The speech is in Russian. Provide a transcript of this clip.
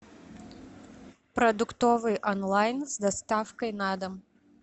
продуктовый онлайн с доставкой на дом